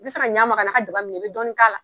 I bɛ se ka ɲɛma ka na ka jaba minɛ bɛ dɔni k'a la.